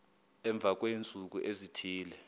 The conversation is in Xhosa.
emva kweentsuku ezithile